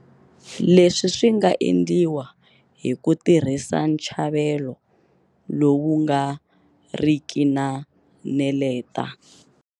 Leswi swi nga endliwa hi ku tirhisa ntshavelo lowu nga ri ki na neleta.